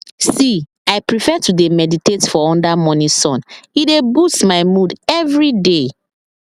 see i prefer to dey meditate for under morning sun e dey boost my mood everyday